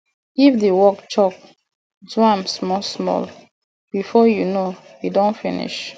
if di work choke do am small small before you know e don finish